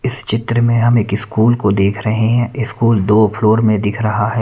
इस चित्र में हम एक स्कूल को देख रहे हैं स्कूल दो फ्लोर में दिख रहा है।